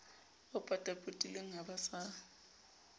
o potapotileng ha ba sa